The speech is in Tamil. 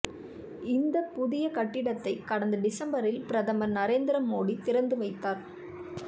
இந்த புதிய கட்டிடத்தை கடந்த டிசம்பரில் பிரதமர் நரேந்திரமோடி திறந்து வைத்தார்